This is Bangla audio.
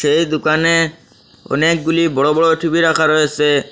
সেই দোকানে অনেকগুলি বড়ো বড়ো টি_ভি রাখা রয়েছে।